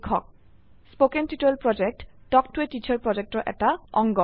কথন শিক্ষণ প্ৰকল্প তাল্ক ত a টিচাৰ প্ৰকল্পৰ এটা অংগ